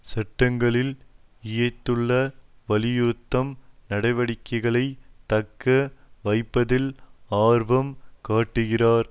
சட்டங்களில் இயைந்துள்ள வலியுறுத்தும் நடவடிக்கைகளை தக்க வைப்பதில் ஆர்வம் காட்டுகிறார்